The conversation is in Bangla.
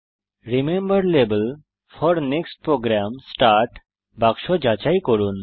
remember level four next program বাক্স যাচাই করুন